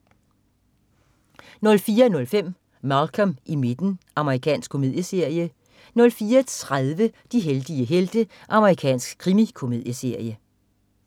04.05 Malcolm i midten. Amerikansk komedieserie 04.30 De heldige helte. Amerikansk krimikomedieserie